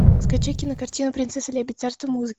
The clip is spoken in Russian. скачай кинокартину принцесса лебедь царство музыки